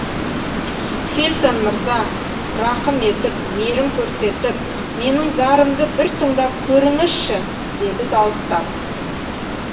фельтон мырза рақым етіп мейірім көрсетіп менің зарымды бір тыңдап көріңізші деді дауыстап